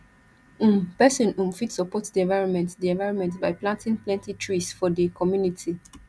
um person um fit support di environment di environment by planting plenty trees for di community